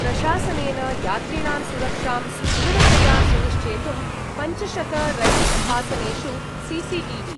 प्रशासनेन यात्रिणां सुरक्षां सुदृढतया सुनिश्चेतुं पञ्चशतरैल्स्थासनेषु सीसीटीवी